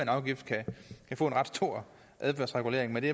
afgift kan få en ret stor adfærdsregulering men det